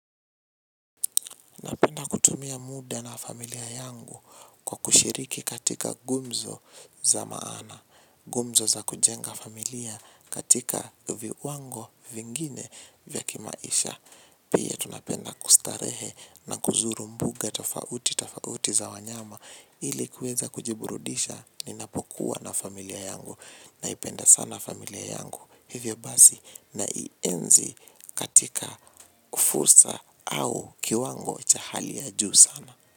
Napenda kutumia muda na familia yangu kwa kushiriki katika gumzo za maana. Gumzo za kujenga familia katika viwango vingine vya kimaisha. Pia tunapenda kustarehe na kuzuru mbuga tofauti tofauti za wanyama ili kweza kujiburudisha ninapokuwa na familia yangu. Naipenda sana familia yangu hivyo basi naienzi katika fursa au kiwango cha hali ya juu sana.